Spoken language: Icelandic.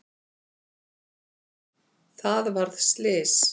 Það varð slys.